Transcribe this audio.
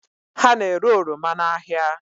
Ha na-ere oroma n'ahịa